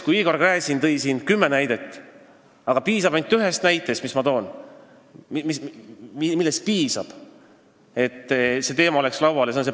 Kui Igor Gräzin tõi siin kümme näidet, siis tegelikult piisab ainult ühest näitest, mis ma toon – piisab sellest Panovi juhtumist, et see teema oleks laual.